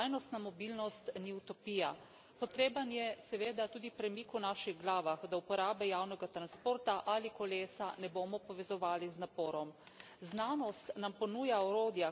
Potreben je seveda tudi premik v naših glavah, da uporabe javnega transporta ali kolesa ne bomo povezovali z naporom. Znanost nam ponuja orodja, kako spremeniti obnašanje ljudi.